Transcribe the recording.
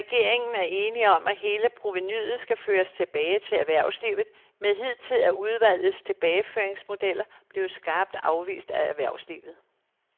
Regeringen er enig om, at hele provenuet skal føres tilbage til erhvervslivet, men hidtil er udvalgets tilbageføringsmodeller blevet skarpt afvist af erhvervslivet.